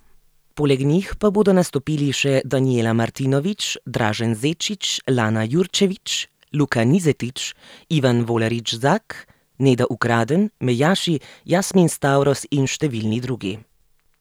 Poleg njih pa bodo nastopili še Danijela Martinović, Dražen Zečić, Lana Jurčević, Luka Nižetić, Ivan Volarić Zak, Neda Ukraden, Mejaši, Jasmin Stavros in številni drugi.